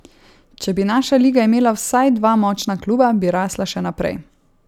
Če bi naša liga imela vsaj dva močna kluba, bi rasla še naprej.